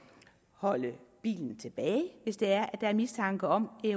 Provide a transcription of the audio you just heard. holde bilen tilbage hvis der er mistanke om